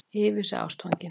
Yfir sig ástfangin.